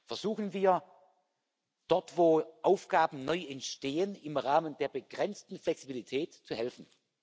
Versuchen wir dort, wo Aufgaben neu entstehen, im Rahmen der begrenzten Flexibilität zu helfen.